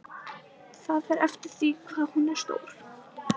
Það fer eftir því hvað hún er stór.